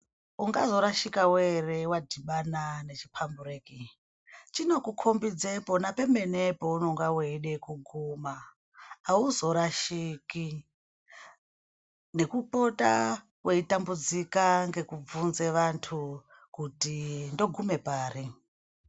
Unga zorashikawo here wadhibana nechipambureki chino kukombidza pona pemene paunonga weida kuguma hauzorashiki nekupota weitambudzika ngekuvhunza vantu kuti ndoguma pari.